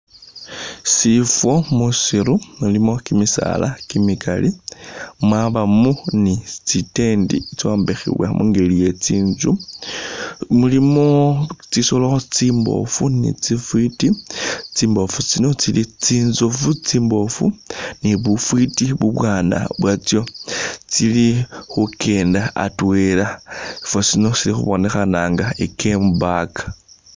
Sifwo musiiru mulimo kimisaala kimikali, mwabamo ni tsi tent tsitsombekhibwa mungeli iye tsinzu. Mulimu tsisoolo tsimboofu ni tsifwiti. Tsimboofu tsino tsili tsinzofu tsimboofu ni bufwiti ubwaana bwatsyo. Tsili khukenda atwela, sifwo sino sili khubonekhana nga i'gamepark